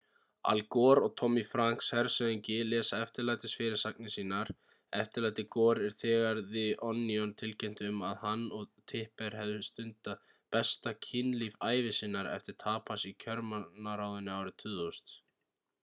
al gore og tommy franks hershöfðingi lesa eftirlætis fyrirsagnirnar sínar eftirlæti gore er þegar the onion tilkynnti um að hann og tipper hefðu stundað besta kynlíf ævi sinnar eftir tap hans í kjörmannaráðinu árið 2000